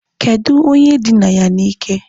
Kedụ onye dina ya na ike?